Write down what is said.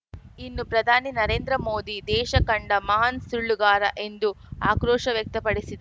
ಇನ್ನು ಪ್ರಧಾನಿ ನರೇಂದ್ರ ಮೋದಿ ದೇಶ ಕಂಡ ಮಹಾನ್‌ ಸುಳ್ಳುಗಾರ ಎಂದು ಆಕ್ರೋಶ ವ್ಯಕ್ತಪಡಿಸಿದ